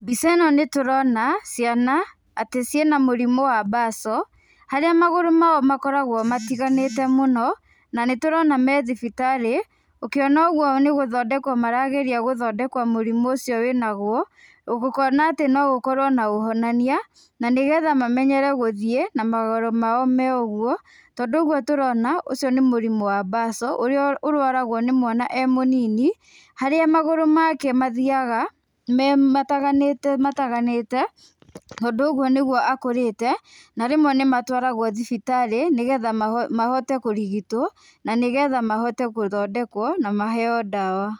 Mbica ĩ no nĩtũrona ciana atĩ ciĩna mũrimũ wa mbaco, harĩa magũrũ ma o makoragwo matiganĩte mũno na nĩtũrona me thibitarĩ, ũkiona ũguo nĩ gũthondekwo marageria gũthondekwo mũrimũ ũcio wĩ naguo, kuona atĩ no gũkorwo na ũhonania na nĩgetha mamenyere gũthiĩ na magũrũ ma o me ũguo tondũ ũguo tũrona ũcio nĩ mũrimũ wa mbaco, ũrĩa ũrwaragwo nĩ mwana e mũnini harĩa magũrũ ma ke mathiyaga mataganĩte mataganĩte tondũ ũguo nĩguo akũrĩte. Na rĩmwe nĩ matwaragwo thibitarĩ nĩgetha mahote kũrigitwo na nĩgetha mahote gũthondekwo na maheyo ndawa.